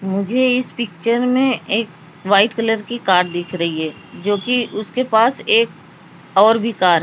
मुझे इस पिक्चर में एक व्हाइट कलर की कार दिख रही है जो कि उसके पास एक और भी कार --